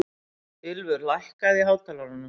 Ylfur, lækkaðu í hátalaranum.